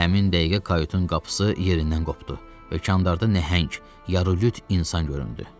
Həmin dəqiqə kayutun qapısı yerindən qopdu və hökmdarda nəhəng, yarulüt insan göründü.